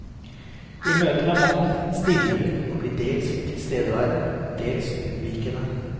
I møte med mannen stilner hun og blir dels tilstedeværende, dels unnvikende.